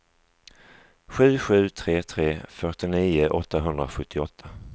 sju sju tre tre fyrtionio åttahundrasjuttioåtta